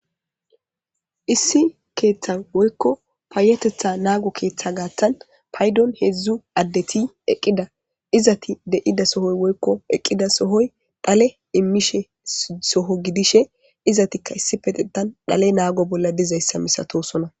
Issi keethan woyko payatetha naago keethan paydon heedzu gidiza asati eqqida. Izeti eqqida sohon dhale immiza soho gidishin izetika issipetethan dhale naago bolla dizaysa masatosona.